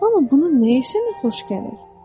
Amma bunun nəyi sənə xoş gəlir?